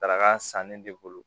Daraka sannen de bolo